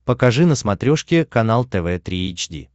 покажи на смотрешке канал тв три эйч ди